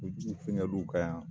Kulujuw fɛngɛ l'u ka yan.